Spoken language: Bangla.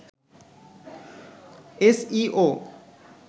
S E O